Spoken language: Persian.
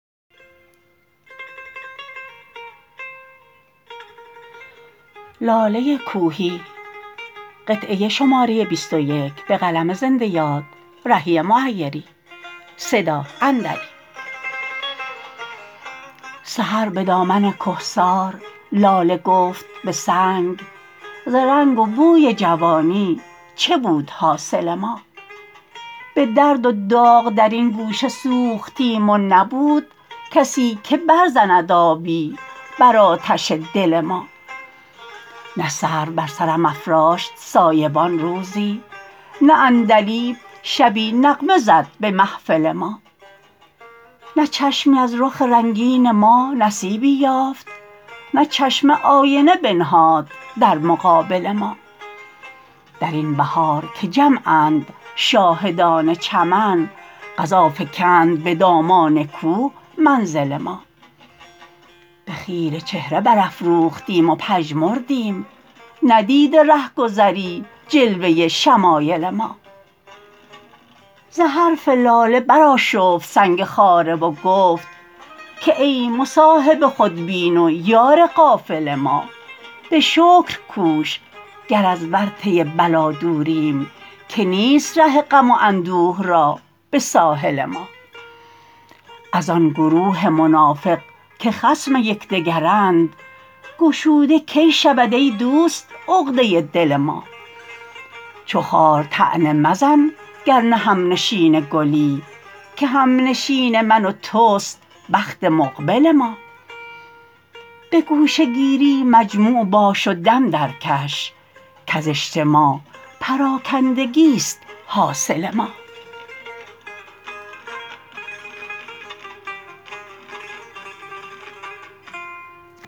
سحر به دامن کهسار لاله گفت به سنگ ز رنگ و بوی جوانی چه بود حاصل ما به درد و داغ در این گوشه سوختیم و نبود کسی که برزند آبی بر آتش دل ما نه سرو بر سرم افراشت سایبان روزی نه عندلیب شبی نغمه زد به محفل ما نه چشمی از رخ رنگین ما نصیبی یافت نه چشمه آینه بنهاد در مقابل ما در این بهار که جمعند شاهدان چمن قضا فکند به دامان کوه منزل ما به خیره چهره برافروختیم و پژمردیم ندیده رهگذری جلوه شمایل ما ز حرف لاله برآشفت سنگ خاره و گفت که ای مصاحب خودبین و یار غافل ما به شکر کوش گر از ورطه بلا دوریم که نیست ره غم و اندوه را به ساحل ما از آن گروه منافق که خصم یکدگرند گشوده کی شود ای دوست عقده دل ما چو خار طعنه مزن گر نه هم نشین گلی که هم نشین من و توست بخت مقبل ما به گوشه گیری مجموع باش و دم درکش کز اجتماع پراکندگی ست حاصل ما